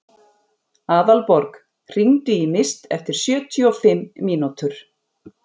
Aðalborg, hringdu í Mist eftir sjötíu og fimm mínútur.